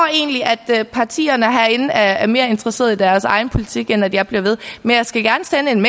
egentlig at partierne herinde er er mere interesseret i deres egen politik end at jeg bliver ved men jeg skal gerne sende en